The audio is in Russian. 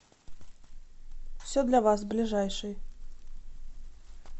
все для вас ближайший